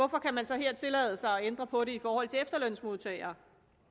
kan man så her tillade sig at ændre på det i forhold til efterlønsmodtagere